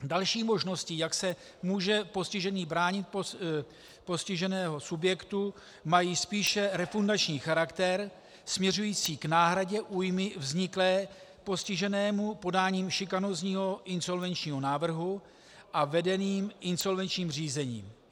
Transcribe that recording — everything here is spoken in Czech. Další možností, jak se může postižený bránit postiženého subjektu (?), mají spíše refundační charakter směřující k náhradě újmy vzniklé postiženému podáním šikanózního insolvenčního návrhu a vedeným insolvenčním řízením.